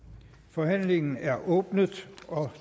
forhandlingen er åbnet